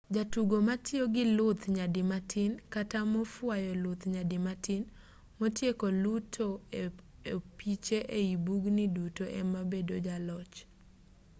jatugo matiyo gi luth nyadi matin kata mofuayo luth nyadi matin motieko luto opiche ei bugni duto ema bedo jaloch